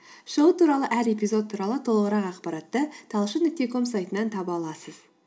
шоу туралы әр эпизод туралы толығырақ ақпаратты талшын нүкте ком сайтынан таба аласыз